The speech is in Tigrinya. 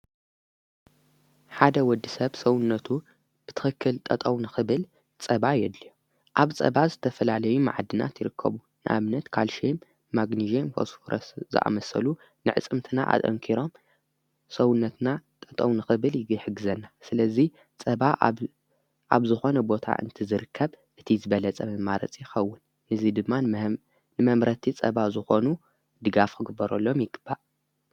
ሓደ ወዲ ሰብ ሰውነቱ ብትኽክል ጠጠውንኽብል ጸባ የድልዮ ኣብ ጸባ ዝተፈላለዩ መዓድናት ትርከቡ ንኣምነት ካልሸይም ማግንዜም ፈስፎረስ ዝኣመሰሉ ንዕጽምትና ኣንኪሮም ሰውነትና ጠጠው ንኽብል ይ ሕግዘና ስለዙይ ጸባ ኣብ ዝኾነ ቦታ እንቲ ዝርከብ እቲ ዝበለጸ መማረጽ ይኸውን ንዙይ ድማን ንመምረቲ ጸባ ዝኾኑ ድጋፍ ኽግበረሎም ይግባእ::